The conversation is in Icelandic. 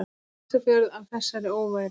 Ísafjörð af þessari óværu!